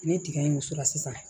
Ne tiga in muso la sisan